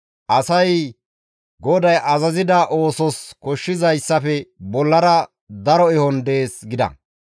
«Asay GODAY azazida oosos koshshizayssafe bollara daro ehon dees» gida.